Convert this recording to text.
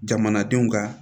Jamanadenw ka